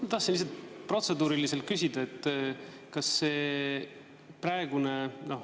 Ma tahtsin lihtsalt protseduuriliselt küsida.